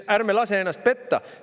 Ärme lase ennast petta!